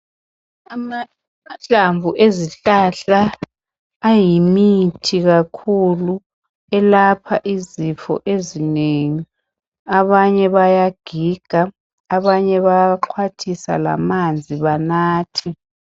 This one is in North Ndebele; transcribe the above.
Amahlamvu ezihlahla ayimithi kakhulu elapha izifo ezinengi abanye bayagiga abanye bayaxhwathisa lamanzi banathe.